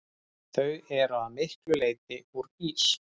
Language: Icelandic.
Þau eru að miklu leyti úr ís.